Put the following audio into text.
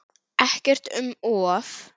Ekkert um of.